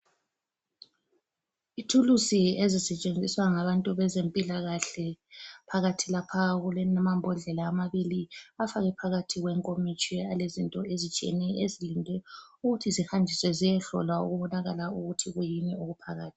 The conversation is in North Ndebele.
Ithulusi ezisetshenziswa ngabantu bezempilakahle , phakathi lapha kulamambodlela amabili afakwe phakathi kwe nkomitsho alezinto ezitshiyeneyo ezilinde ukuthi zihanjiswe ziyehlolwa ukubonakala ukuthi kuyini okuphakathi